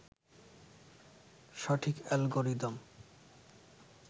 সঠিক অ্যালগোরিদম